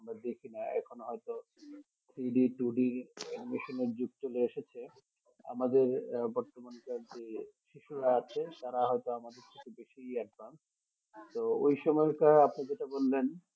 আমরা দেখি না এখন হয়তো three D two D মেশিনের যুগ চলে এসেছে আমাদের আহ বর্তমান কার যে শিশুরা আছে তারা হয় তো আমাদের থেকে বেশি advance তো ওই সময়টা আপনি যেটা বললেন